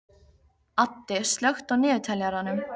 Addi, slökktu á niðurteljaranum.